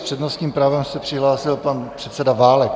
S přednostním právem se přihlásil pan předseda Válek.